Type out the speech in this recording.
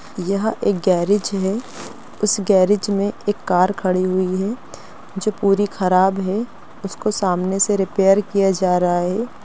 यह एक गैरेज है उस गैरेज मे एक कार खड़ी हुई है जो पूरी खराब है उसको सामने से रिपेयर किया जा रहा है।